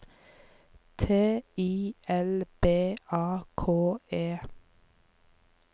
T I L B A K E